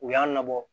U y'a nɔ bɔ